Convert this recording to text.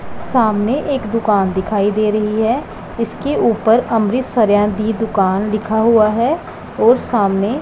सामने एक दुकान दिखाई दे रही है इसके ऊपर अमृत सरयान दी दुकान लिखा हुआ है और सामने--